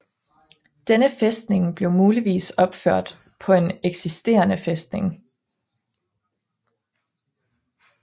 Denne fæstning blev muligvis opført på en eksisterende fæstning